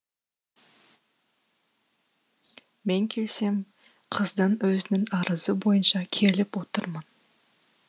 мен келсем қыздың өзінің арызы бойынша келіп отырмын